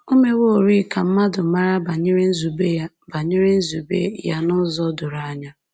O meworị ka mmadụ mara banyere nzube ya banyere nzube ya n’ụzọ doro anya.